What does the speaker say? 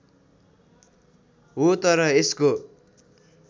हो तर यसको